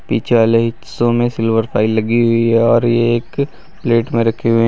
पीछे वाले हिस्सों में सिल्वर फाइल लगी हुई है और ये एक प्लेट में रखे हुए--